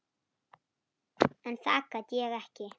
En það gat ég ekki.